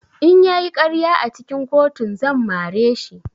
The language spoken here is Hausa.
In ya yi ƙarya a cikin kotun zan mare shi.